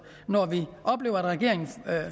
når vi oplever at regeringen